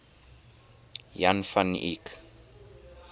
jan van eyck